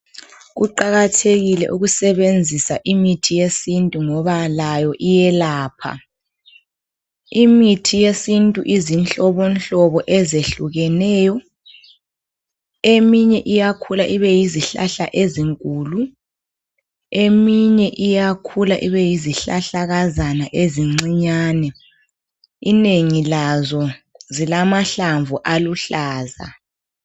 Kuqakathekile ukusebenzisa imithi yesintu ngoba layo iyelapha, imithi yesintu izinhlobohlobo ezehlukeneyo eminye iyakhula ibe yizihlahla ezinkulu eminye iyakhula ibe yizihlahlakazana ezincinyane inengi lazo zilamahlamvu aluhlaza.